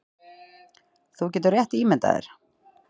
Þú getur rétt ímyndað þér